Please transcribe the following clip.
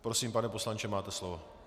Prosím pane poslanče, máte slovo.